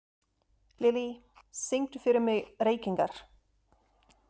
Lilly, syngdu fyrir mig „Reykingar“.